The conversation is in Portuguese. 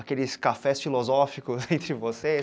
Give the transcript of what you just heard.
aqueles cafés filosóficos entre vocês?